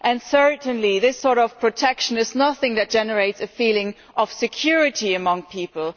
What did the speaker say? Certainly, this sort of protection is nothing that generates a feeling of security among people.